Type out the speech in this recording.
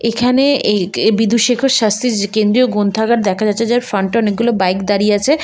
এখানে এই বিদুশেখর শাস্ত্রীর কেন্দ্রীয় গ্রন্থাগার দেখা যাচ্ছে যার ফ্রন্ট -এ অনেকগুলো বাইক দাঁড়িয়ে আছে।